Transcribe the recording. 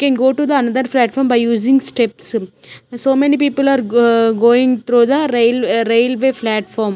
can go to the another platform by using steps so many people are aa ga going through the rail ah railway platform.